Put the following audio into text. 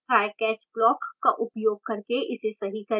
trycatch block का उपयोग करके इसे सही करें